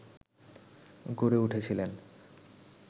গড়ে উঠেছিলেন